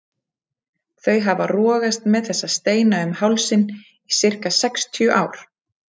Þau hafa rogast með þessa steina um hálsinn í sirka sextíu ár.